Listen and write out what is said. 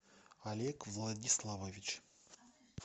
олег владиславович